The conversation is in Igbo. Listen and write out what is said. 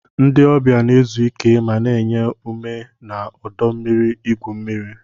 Ndị ọbịa na-ezu ike ma na-enye ume na ọdọ mmiri igwu mmiri.